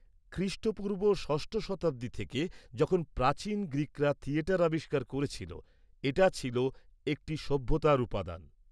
-খ্রিষ্টপূর্ব ষষ্ঠ শতাব্দী থেকে, যখন প্রাচীন গ্রীকরা থিয়েটার আবিষ্কার করেছিল, এটা ছিল একটি সভ্যতার উপাদান।